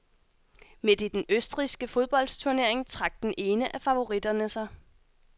Midt i den østrigske fodboldsturnering trak den ene af favoritterne sig.